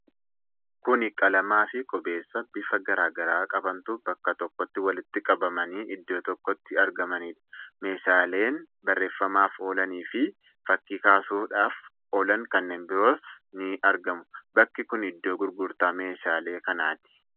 Kuni qalamaa fi qubeessaa bifa garaa garaa qabantu bakka tokkotti walitti qabamanii iddoo itti argamanidha. Meeshaaleen barreefamaaf oolani fi fakkii kaasuuf oolan kanneen biroos ni argamu. Bakki kun iddoo gurgurtaa meeshaalee kanaati.